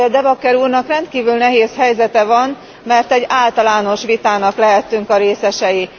Ezért De Backer úrnak rendkívül nehéz helyzete van, mert egy általános vitának lehettünk a részesei.